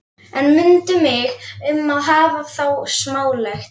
En mundu mig um að hafa það smálegt.